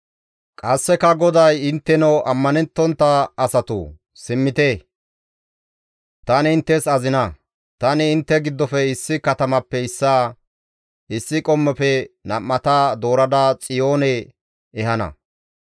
Qasseka GODAY, «Intteno ammanettontta asatoo, simmite; tani inttes azina; Tani intte giddofe issi katamappe issaa, issi qommofe nam7ata doorada Xiyoone ehana.